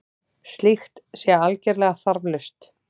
Slíkt sé algerlega þarflaust